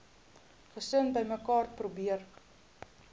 gesin bymekaar probeer